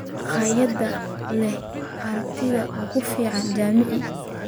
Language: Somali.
Makhaayad leh aragtida ugu fiican Jamaica